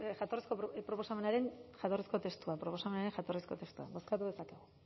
jatorrizko testua